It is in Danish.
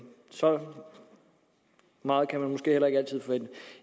så meget kan man måske heller ikke altid forvente